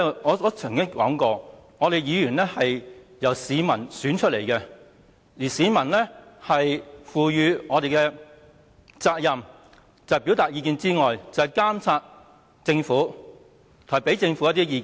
我曾經說過，議員是由市民選出的，而市民賦予我們的責任，除了表達意見外，還要監察政府，並且向政府提出意見。